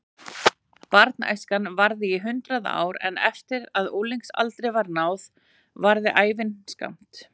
Barnæskan varði í hundrað ár en eftir að unglingsaldri var náð varði ævin skammt.